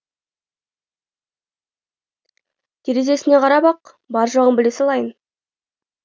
терезесіне қарап ақ бар жоғын біле салайын